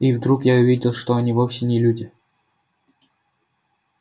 и вдруг я увидел что они вовсе не люди